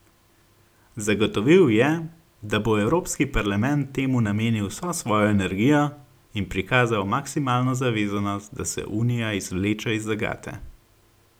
Zagotovil je, da bo Evropski parlament temu namenil vso svojo energijo in prikazal maksimalno zavezanost, da se unija izvleče iz zagate.